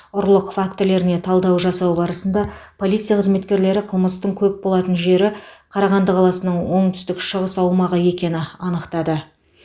ұрлық фактілеріне талдау жасау барысында полиция қызметкерлері қылмыстың көп болатын жері қарағанды қаласының оңтүстік шығыс аумағы екені анықтады